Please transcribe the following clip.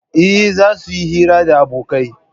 Eh, zasu yi hira da abokai